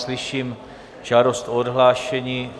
Slyším žádost o odhlášení.